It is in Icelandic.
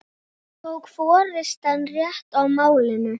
Tók forystan rétt á málinu?